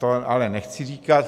To ale nechci říkat.